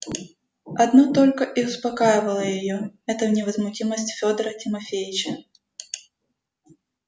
одно только и успокаивало её это невозмутимость федора тимофеича